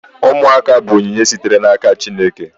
Ụmụaka bụ onyinye sitere n'aka Chineke